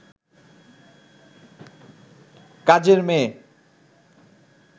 কাজের মেয়ে